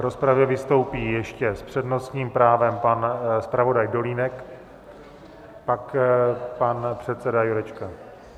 V rozpravě vystoupí ještě s přednostním právem pan zpravodaj Dolínek, pak pan předseda Jurečka.